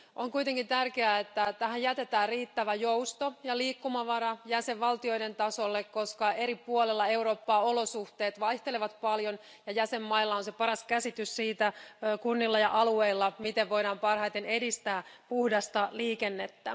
On kuitenkin tärkeää, että tähän jätetään riittävä jousto ja liikkumavara jäsenvaltioiden tasolle, koska eri puolilla Eurooppaa olosuhteet vaihtelevat paljon ja jäsenmailla, kunnilla ja alueilla, on paras käsitys siitä, miten voidaan parhaiten edistää puhdasta liikennettä.